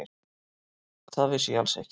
Það vissi ég alls ekki.